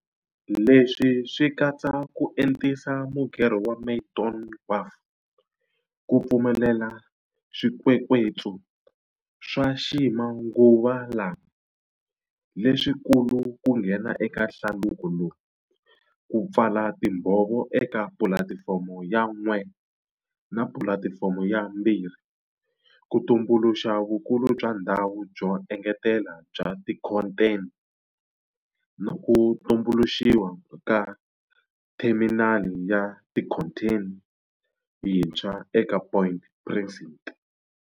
Leswi swi katsa ku entisa mugerho wa Maydon Wharf ku pfumelela swikwekwetsu swa ximanguvalama, leswikulu ku nghena eka hlaluko lowu, ku pfala timbho vo eka Pulatifomo ya 1 na Pulati fomo ya 2 ku tumbuluxa vukulu bya ndhawu byo engetela bya tikhontheni na ku tumbuluxiwa ka theminali ya tikhontheni yi ntshwa eka Point Precinct.